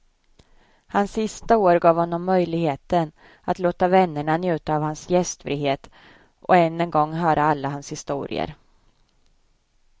Hans sista år gav honom möjligheten att låta vännerna njuta av hans gästfrihet och än en gång höra alla hans historier.